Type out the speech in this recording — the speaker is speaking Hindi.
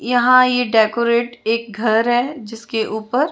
यहाँ एक डेकोरेट एक घर है जिसके ऊपर--